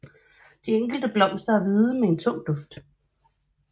De enkelte blomster er hvide med en tung duft